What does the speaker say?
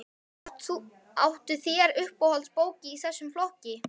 Áttu þér uppáhalds bók í þessum flokki?